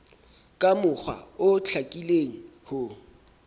ka mokgwa o hlakileng ho